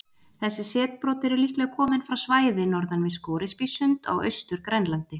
Þessi setbrot eru líklega komin frá svæði norðan við Scoresbysund á Austur-Grænlandi.